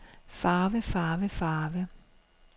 farve farve farve